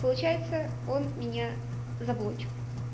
получается он меня заблочил